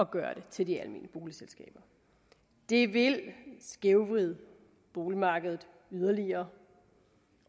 gøre det til de almene boligselskaber det vil skævvride boligmarkedet yderligere